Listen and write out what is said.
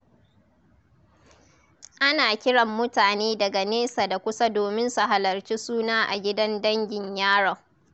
Ana kiran mutane daga nesa da kusa domin su halarci suna a gidan dangin yaron.